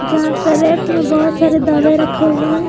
यहां पर रैक में बहुत सारे दावे रखे हुए हैं।